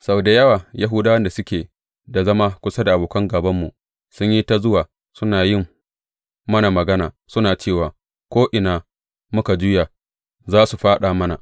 Sau da yawa Yahudawan da suke da zama kusa da abokan gābanmu sun yi ta zuwa suna yin mana magana, suna cewa Ko’ina muka juya, za su fāɗa mana.